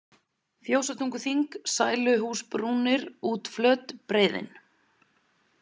Fjósatunguþing, Sæluhúsbrúnir, Útflöt, Breiðin